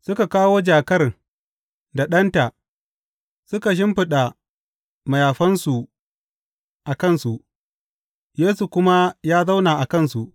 Suka kawo jakar da ɗanta, suka shimfiɗa mayafansu a kansu, Yesu kuma ya zauna a kansu.